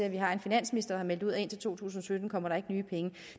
at vi har en finansminister der har meldt ud at indtil to tusind og sytten kommer der ikke nye penge